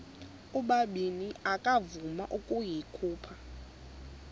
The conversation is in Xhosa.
ubabini akavuma ukuyikhupha